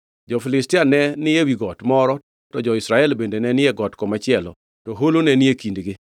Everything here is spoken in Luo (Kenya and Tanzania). Jo-Filistia ne ni ewi got moro to jo-Israel bende ne ni e got machielo to holo ne ni e kindgi.